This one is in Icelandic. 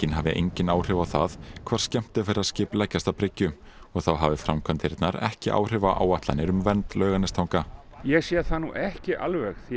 hafi engin áhrif á það hvar skemmtiferðaskip leggjast að bryggju og þá hafi framkvæmdirnar ekki áhrif á áætlanir um vernd Laugarnestanga ég sé það nú ekki alveg því